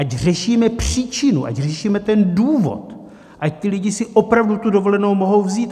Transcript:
Ať řešíme příčinu, ať řešíme ten důvod, ať ti lidé si opravdu tu dovolenou mohou vzít.